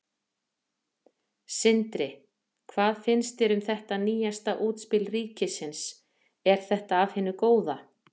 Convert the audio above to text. Sindri: Hvað finnst þér um þetta nýjasta útspil ríkisins, er þetta af hinu góða?